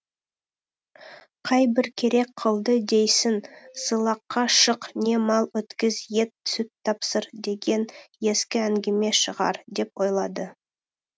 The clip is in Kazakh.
қайбір керек қылды дейсің сылаққа шық не мал өткіз ет сүт тапсыр деген ескі әңгіме шығар деп ойлады